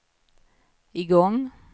igång